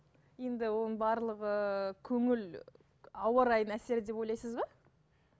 енді оның барлығы көңіл ауа райының әсері деп ойлайсыз ба